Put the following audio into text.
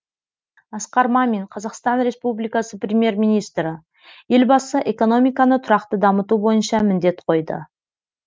асқар мамин қазақстан республикасы премьер министрі елбасы экономиканы тұрақты дамыту бойынша міндет қойды